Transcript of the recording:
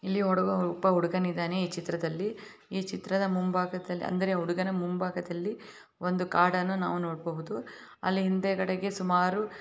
ಇಲ್ಲಿ ಹುಡುಗ ಒಬ್ಬ ಹುಡುಗನ್ ಇದಾನೆ ಈ ಚಿತ್ರದಲ್ಲಿ ಈ ಚಿತ್ರದ ಮುಂಭಾಗದಲ್ಲಿ ಅಂದರೆ ಹುಡುಗನ ಮುಂಭಾಗದಲ್ಲಿ ಒಂದು ಕಾಡನ್ನು ನಾವು ನೋಡಬಹುದು ಅಲ್ಲಿ ಹಿಂದೆಗದಡೆಗೆ ಸುಮಾರು --